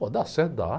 Pô, dá certo? Dá.